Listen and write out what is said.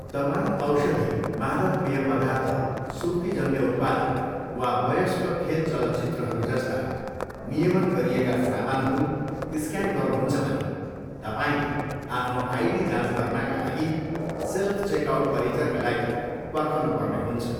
तपाईँ औषधि, मादक पेय पदार्थ, सुर्तीजन्य उत्पादन, वा वयस्क खेल चलचित्रहरू जस्ता नियमन गरिएका सामानहरू स्क्यान गर्नुहुन्छ भने तपाईँले आफ्नो आइडी जाँच गर्नाका लागि सेल्फ चेकआउट परिचरका लागि पर्खनुपर्ने हुन्छ।